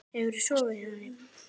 Hefurðu sofið hjá henni?